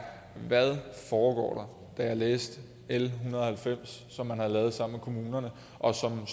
hvad foregår der da jeg læste l hundrede og halvfems som man havde lavet sammen med kommunerne og som